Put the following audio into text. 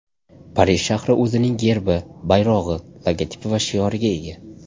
Parij shahri o‘zining gerbi, bayrog‘i, logotipi va shioriga ega.